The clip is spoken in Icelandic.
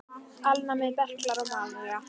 Alnæmi, berklar og malaría